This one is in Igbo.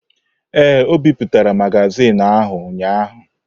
Ee, o bipụtara magazin ahụ ụnyahụ.